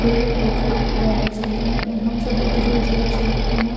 ढेरी पोखर रहे छै ते हम हम सब उधारो जाय छी ओतेना --